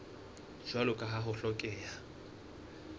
jwalo ka ha ho hlokeha